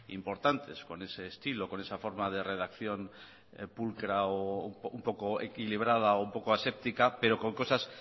importantes con ese estilo con esa forma de redacción pulcra o un poco equilibrada o un poco aséptica pero con cosas